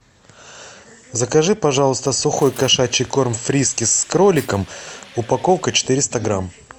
закажи пожалуйста сухой кошачий корм фрискис с кроликом упаковка четыреста грамм